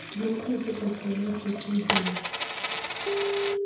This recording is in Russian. я восемьдесят лет провела в птичьем теле